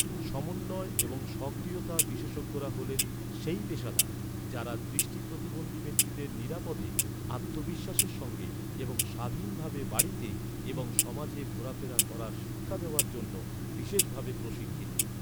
সমন্বয় এবং সক্রিয়তা বিশেষজ্ঞরা হলেন, সেই পেশাদার, যাঁরা দৃষ্টি প্রতিবন্ধী ব্যক্তিদের নিরাপদে, আত্মবিশ্বাসের সঙ্গে এবং স্বাধীনভাবে বাড়িতে এবং সমাজে ঘোরাফেরা করার শিক্ষা দেওয়ার জন্য বিশেষভাবে প্রশিক্ষিত।